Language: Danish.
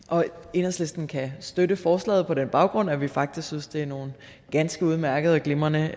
enhedslisten kan støtte forslaget på den baggrund at vi faktisk synes det er nogle ganske udmærkede og glimrende